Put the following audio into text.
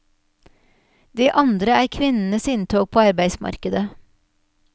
Det andre er kvinnenes inntog på arbeidsmarkedet.